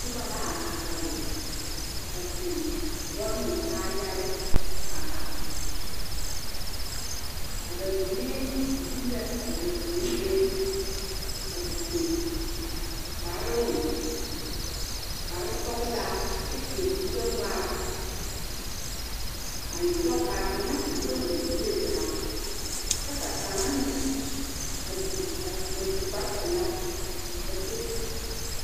Noba la are are a su boloŋmɛ kaayaare are are a ba mine yie la a ba puori be a te su kparoŋ soɔla kyɛ sɛ kore gbɛŋma kaa kaŋa a nyɔge o kuri ta kyɛ ka kaŋa meŋ suu kpare pɛle.